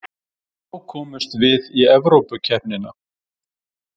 Þá komumst við í Evrópukeppnina